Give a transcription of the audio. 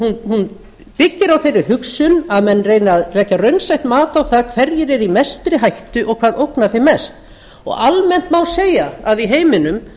hún byggir á þeirri hugsun að menn reyni að leggja raunsætt mat á það hverjir eru í mestri hættu og hvað ógnar þeim mest almennt má segja að í heiminum